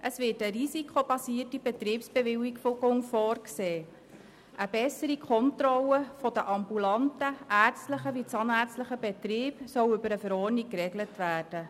Es wird eine risikobasierte Betriebsbewilligung vorgesehen, und in einer Verordnung soll eine bessere Kontrolle der ambulanten ärztlichen und zahnärztlichen Betriebe geregelt werden.